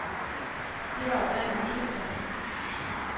Det var oprindelig ikke tanken.